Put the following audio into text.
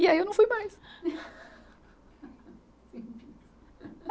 E aí eu não fui mais.